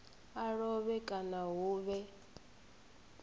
a lovhe kana hu vhe